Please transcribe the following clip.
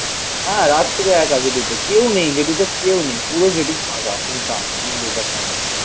একা. হ্যাঁ. রাত্রিরে একা যেতে. কেউ নেই. জেডিতে কেউ নেই. পুরো জেডি ফাঁকা. সুনসান. আমি বসে থাকতাম.